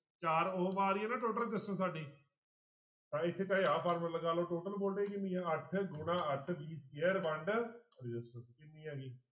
ਚਾਰ ਆ ਰਹੀ ਹੈ ਨਾ total resistance ਸਾਡੀ ਤਾਂਂ ਇੱਥੇ ਚਾਹੇ ਆਹ ਫਾਰਮੁਲਾ ਲਗਾ ਲਓ total voltage ਕਿੰਨੀ ਆਂ ਅੱਠ ਗੁਣਾ ਅੱਠ v square ਵੰਡ resistance ਕਿੰਨੀ ਆ ਗਈ